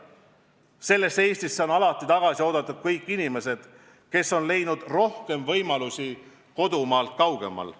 Sellesse Eestisse on alati tagasi oodatud kõik inimesed, kes on leidnud rohkem võimalusi kodumaalt kaugemal.